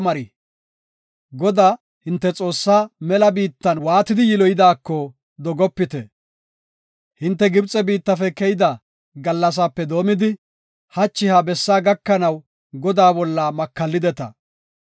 Godaa, hinte Xoossaa mela biittan waatidi yiloyidaako dogopite. Hinte Gibxe biittafe keyida gallasape doomidi, hachi ha bessaa gakanaw Godaa bolla makallideta.